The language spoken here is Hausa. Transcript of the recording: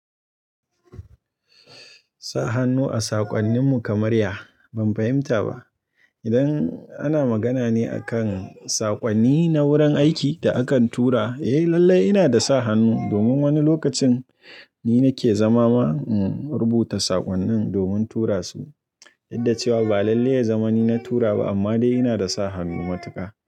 Sa hannu a saƙonnin mu kamarya ban fahimta ba. Idan ana magana ne akan saƙonni na wurin aiki da akan tura, eh lallai ina da sa hannu domin wani lokacin ni nake zama ma rubuta saƙonnin domin tura su. Yadda cewa ba lallai ya zama ni na tura ba amma dai ina da sa hannu matuka.